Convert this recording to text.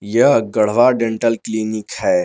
यह Garhwa dental clinic है।